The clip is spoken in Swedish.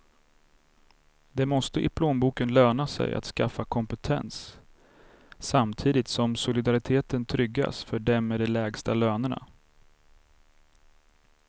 Det måste i plånboken löna sig att skaffa kompetens, samtidigt som solidariteten tryggas för dem med de lägsta lönerna.